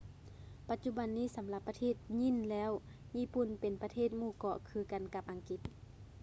ປັດຈຸບັນນີ້ສຳລັບປະເທດຍີ່່ນແລ້ວ ຍີ່ປຸ່ນເປັນປະເທດໝູ່ເກາະ ຄືກັນກັບອັງກິດ